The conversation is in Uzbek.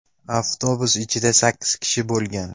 Avtobus ichida sakkiz kishi bo‘lgan.